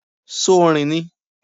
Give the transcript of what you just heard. Ṣo rìn ni?